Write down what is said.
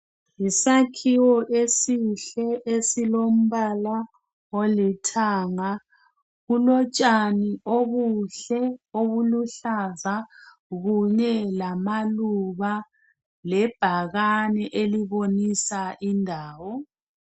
Yisakhiwo esihle esilombala olithanga. Kulotshani obuluhlaza kunye lamaluba lebhakane elibonisa indawo